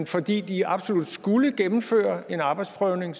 fordi de absolut skulle gennemføre en arbejdsprøvning